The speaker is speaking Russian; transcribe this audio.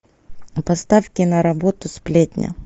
поставь киноработу сплетня